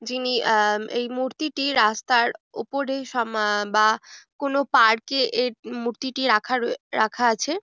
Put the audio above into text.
যিনি এই- আ- মূর্তিটি রাস্তার উপরে বা কোনো পার্কে মূর্তিটি রাখা রয়ে রাখা আছে।